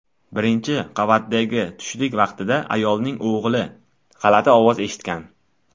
Birinchi qavatdagi tushlik vaqtida ayolning o‘g‘li g‘alati ovozni eshitgan.